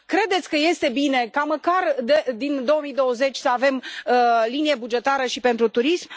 Credeți că este bine ca, măcar din 2020, să avem linie bugetară și pentru turism.